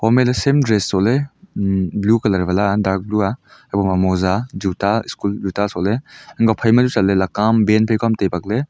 home ley same dress sohley blue colour wala a dark a haiboma moja juta school juta sohley hai kua phaima chu chatley laka am ban phai ka am tai bakley.